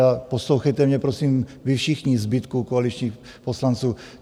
A poslouchejte mě, prosím, vy všichni, zbytku koaličních poslanců.